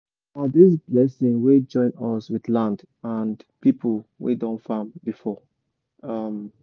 na this blessing wey join us with land and and people wey don farm before. um